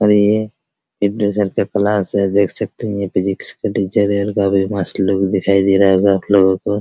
और ये का क्लास है देख सकते है फिजिक्स का टीचर है और काफी मस्त लुक दिखाई दे रहा होगा आपलोगो को --